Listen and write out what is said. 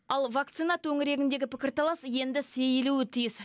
ал вакцина төңірегіндегі пікірталас енді сейілуі тиіс